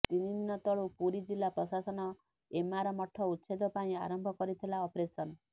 ତିନି ଦିନ ତଳୁ ପୁରୀ ଜିଲ୍ଲା ପ୍ରଶାସନ ଏମାର ମଠ ଉଚ୍ଛେଦ ପାଇଁ ଆରମ୍ଭ କରିଥିଲା ଅପରେସନ